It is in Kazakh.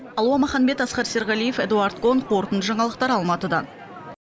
алуа маханбет асқар серғалиев эдуард кон қорытынды жаңалықтар алматыдан